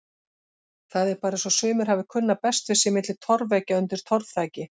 Það er bara eins og sumir hafi kunnað best við sig milli torfveggja undir torfþaki.